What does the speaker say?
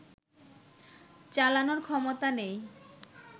চালানোর ক্ষমতা নেই